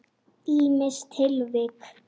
Ýmis tilvik.